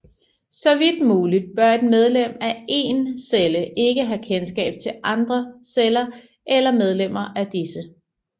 Så vidt muligt bør et medlem af én celle ikke have kendskab til andre celler eller medlemmer af disse